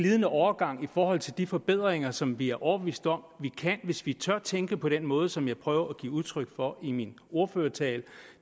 glidende overgang i forhold til de forbedringer som vi er overbeviste om vi kan hvis vi tør tænke på den måde som jeg prøvede at give udtryk for i min ordførertale